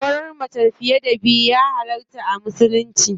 Auren mace fiye da biyu ya halarta a musulunci.